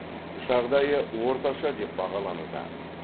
жағдайы орташа деп бағалануда